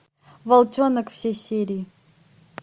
волчонок все серии